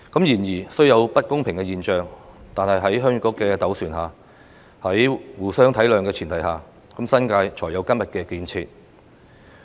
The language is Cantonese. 然而，雖有不公平的現象，但在鄉議局的斡旋和互相體諒的前提下，新界才有今天的建設。